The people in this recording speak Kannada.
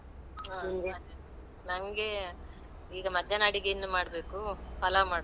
ಹಾ ನನ್ಗೆ ಈಗ ಮಧ್ಯಾಹ್ನ ಅಡಿಗೆ ಇನ್ನು ಮಾಡ್ಬೇಕು. ಪಲಾವ್ ಮಾಡ್ತಿನಿ